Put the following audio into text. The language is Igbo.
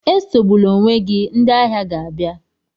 Esogbula onwe gị, ndị ahịa ga-abịa.